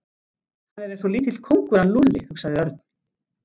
Hann er eins og lítill kóngur hann Lúlli hugsaði Örn.